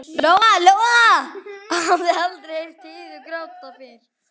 Lóa-Lóa hafði aldrei heyrt Heiðu gráta fyrr.